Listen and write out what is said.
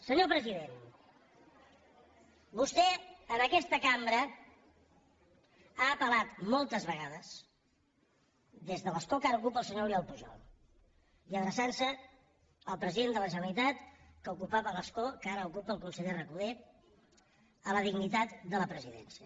senyor president vostè en aquesta cambra ha apel·lat moltes vegades des de l’escó que ara ocupa el senyor oriol pujol i adreçant se al president de la generalitat que ocupava l’escó que ara ocupa el conseller recoder a la dignitat de la presidència